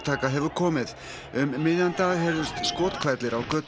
um miðjan dag heyrðust skothvellir á götum Harare